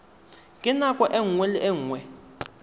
ka nako nngwe le nngwe